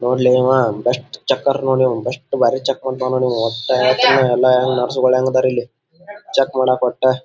ನೋಡ್ಲೆ ಆವಾ best checker ನೋಡಿ best ಭಾರಿ ಚೆಕ್ ಮಾಡಿತಾನ್ ನೋಡಿ ಆವಾ ಹೊಟ್ಟೆ ಎಲ್ಲನರ್ಸ್ ಗಳು ಹೆಂಗ ಅದರ ಇಲ್ಲಿ ಚೆಕ್ ಮಾಡೋಕ್ ಕೊಟ್ಟು --